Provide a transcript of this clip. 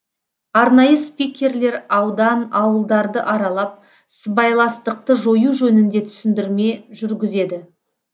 арнайы спикерлер аудан ауылдарды аралап сыбайластықты жою жөнінде түсіндірме жүргізеді